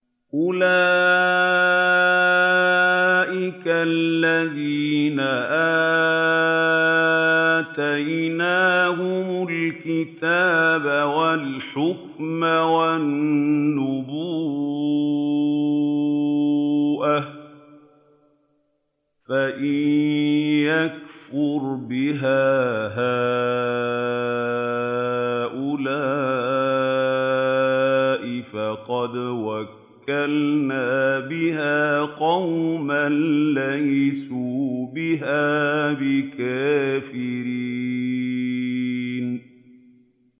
أُولَٰئِكَ الَّذِينَ آتَيْنَاهُمُ الْكِتَابَ وَالْحُكْمَ وَالنُّبُوَّةَ ۚ فَإِن يَكْفُرْ بِهَا هَٰؤُلَاءِ فَقَدْ وَكَّلْنَا بِهَا قَوْمًا لَّيْسُوا بِهَا بِكَافِرِينَ